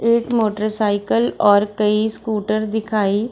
एक motorcycle और कई स्कूटर दिखाई --